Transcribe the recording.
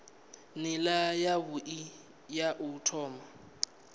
nila yavhui ya u thoma